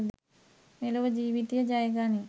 මෙලොව ජීවිතය ජය ගනී.